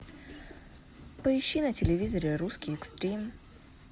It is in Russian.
поищи на телевизоре русский экстрим